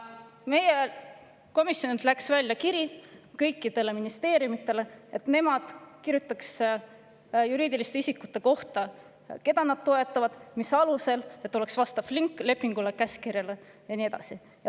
Meie komisjonilt läks välja kiri kõikidele ministeeriumidele, et nemad kirjutaksid juriidiliste isikute kohta, keda nad toetavad ja mis alusel, ning me palusime, et oleks ka vastav link lepingule, käskkirjale ja nii edasi.